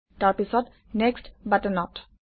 তাৰ পিছত নেক্সট্ বাটনত